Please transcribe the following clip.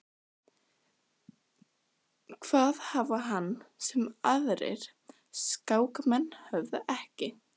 Heimir: Hvað hafði hann sem að aðrir skákmenn höfðu ekki?